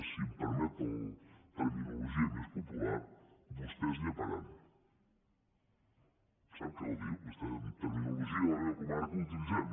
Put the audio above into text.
si em permet la terminologia més popular vostès lleparannologia de la meva comarca ho utilitzem